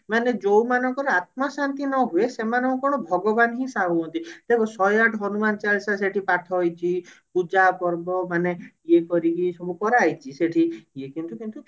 ମାନେ ଯଉ ମାନଙ୍କର ଆତ୍ମା ଶାନ୍ତି ନହୁଏ ସେମାନଙ୍କୁ କଣ ଭଗବାନ ହିଁ ସାହା ହୁଅନ୍ତି ଦେଖ ଶହେ ଆଠ ହନୁମାନ ଚାଳିଶା ସେଠି ପାଠ ହେଇଛି ପୂଜା ପର୍ବ ମାନେ ଇଏ କରିକି ସବୁ କରାହେଇଛି ସେଠି ଇଏ କିନ୍ତୁ କିନ୍ତୁ